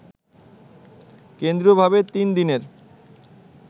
কেন্দ্রীয়ভাবে তিন দিনের